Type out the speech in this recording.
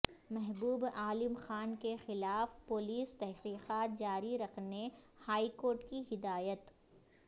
محبوب عالم خان کے خلاف پولیس تحقیقات جاری رکھنے ہائیکورٹ کی ہدایت